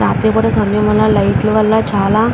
రాత్రిపూట సమయం వల్ల లైట్ లు వల్ల చాలా --